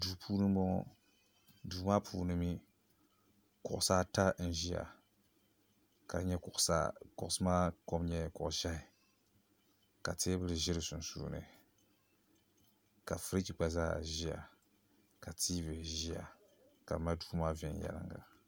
Duu puuni m-bɔŋɔ duu maa puuni mi kuɣusi ata n-ʒiya ka kuɣusi maa kom nyɛ kuɣ' ʒɛhi ka teebuli ʒe di sunsuuni ka firiiji ɡba zaa ʒiya ka TV ʒiya ka bɛ mali duu maa viɛnyɛliŋɡa